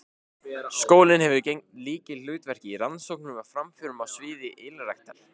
Skólinn hefur gegnt lykilhlutverki í rannsóknum og framförum á sviði ylræktar.